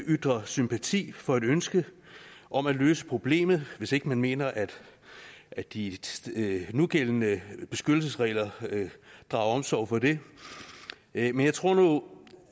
ytre sympati for et ønske om at løse problemet hvis ikke man mener at at de nugældende beskyttelsesregler drager omsorg for det men jeg tror nu